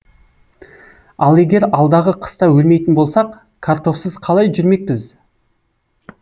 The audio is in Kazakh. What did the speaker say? ал егер алдағы қыста өлмейтін болсақ картофсыз қалай жүрмекпіз